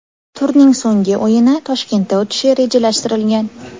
Turning so‘nggi o‘yini Toshkentda o‘tishi rejalashtirilgan.